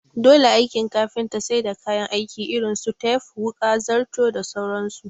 Dole aikin kafinta sai da kayan aiki irin su tep wuƙa, zarto da sauran su